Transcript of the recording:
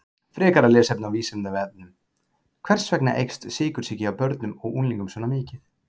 Frekara lesefni á Vísindavefnum: Hvers vegna eykst sykursýki hjá börnum og unglingum svona mikið?